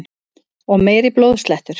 Og meiri blóðslettur!